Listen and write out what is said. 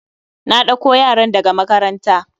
Na ɗako yaran da ga makaranta.